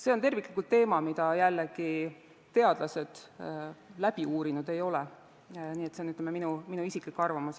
See on terviklik teema, mida jällegi teadlased läbi uurinud ei ole, nii et see on minu isiklik arvamus.